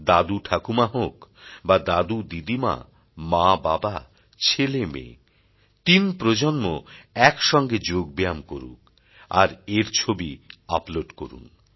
দাদু ঠাকুমা হোক বা দাদু দিদিমা মা বাবা ছেলে মেয়ে তিন প্রজন্ম এক সঙ্গে যোগ ব্যায়াম করুক আর এর ছবি আপলোড করুন